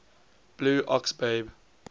blue ox babe